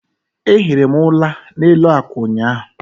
a ehiri m ula n'elu akwa ụnyaahụ